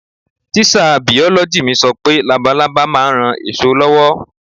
Tíṣà bìọ̀lọ́gì mi sọ pé labalábá ma ń ran èso lọ́wọ́.